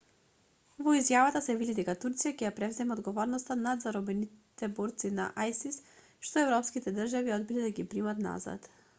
во изјавата се вели дека турција ќе ја преземе одговорноста над заробените борци на исис што европските држави одбиле да ги примат назад